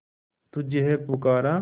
तुझे है पुकारा